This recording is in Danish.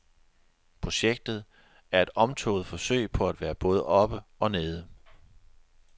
Projektet er et omtåget forsøg på at være både oppe og nede.